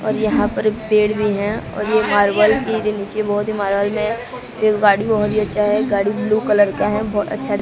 और यहां पर पेड़ भी है और ये मार्बल की नीचे बहोत ही गाड़ी ब्लू कलर का है बहोत अच्छा--